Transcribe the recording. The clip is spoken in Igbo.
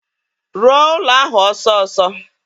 Rụọ ụlọ ahụ ọsọọsọ!